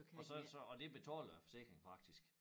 Og så så og det betaler æ forsikring faktisk